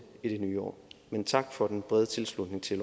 i det nye år men tak for den brede tilslutning til